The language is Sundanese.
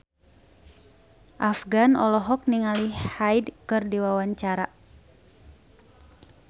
Afgan olohok ningali Hyde keur diwawancara